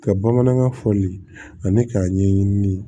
Ka bamanankan fɔli ani k'a ɲɛɲini